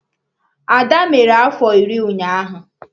Ada mere afọ iri ụnyaahụ